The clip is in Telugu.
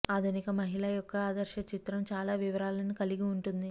ఆధునిక మహిళ యొక్క ఆదర్శ చిత్రం చాలా వివరాలను కలిగి ఉంటుంది